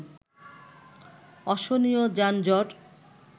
অসহনীয় যানজট